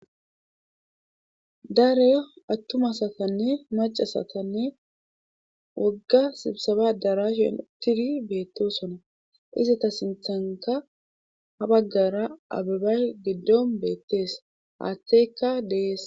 daro attuma asatane maccasatanne wogga sibsaba addaraashan uttiri beettosona;izeta sinttankka ha baggara ababay giddon beetes;haatheyka de7ees.